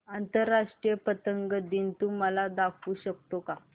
आंतरराष्ट्रीय पतंग दिन तू मला दाखवू शकतो का